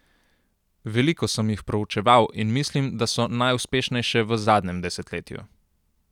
Veliko sem jih proučeval in mislim, da so najuspešnejše v zadnjem desetletju.